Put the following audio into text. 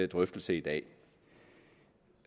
drøftelse i dag